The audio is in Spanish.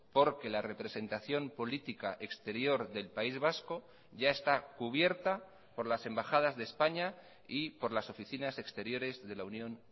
porque la representación política exterior del país vasco ya está cubierta por las embajadas de españa y por las oficinas exteriores de la unión